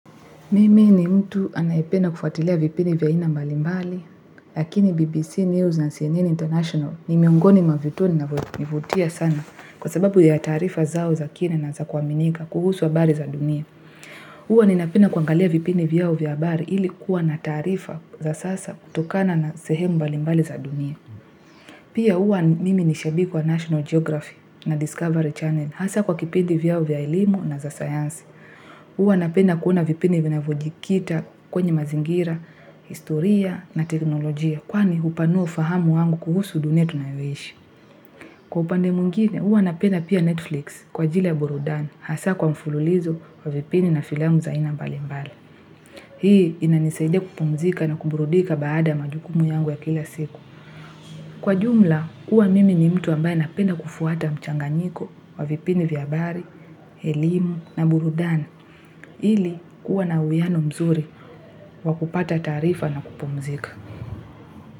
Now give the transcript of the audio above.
Mimi ni mtu anaipenda kufuatilia vipindi vya aina mbali mbali, lakini BBC News na CNN International ni miongoni mwa vituo ni na vutia sana kwa sababu ya tarifa zao za kina na za kuaminika kuhusu habari za dunia. Uwa ni napenda kuangalia vipini vyao vya bari ilikuwa na tarifa za sasa kutokana na sehemu mbali mbali za dunia. Pia uwa mimi ni shabiki wa National Geography na Discovery Channel hasa kwa kipindi vyao vya elimu na za sayansi. Uwa napenda kuona vipindi vina vojikita kwenye mazingira, historia na teknolojia. Kwani upanuo ufahamu wangu kuhusu dunia tunahoishi. Kwa upande muingine, uwa napenda pia Netflix kwa jile burudani. Hasa kwa mfululizo wa vipini na filamu za ina mbali mbali. Hii inanisaidia kupumzika na kuburudika baada majukumu yangu ya kila siku. Kwa jumla, uwa mimi ni mtu ambaye napenda kufuata mchanganiko wa vipini vyabari, helimu na burudani. Hili kuwa na uyiano mzuri wakupata tarifa na kupumzika.